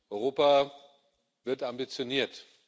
Europa wird ambitioniert.